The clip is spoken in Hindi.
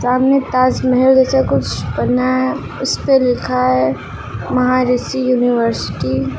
सामने ताजमहल जैसा कुछ बना है। उस पे लिखा है महाऋषि यूनिवर्सिटी ।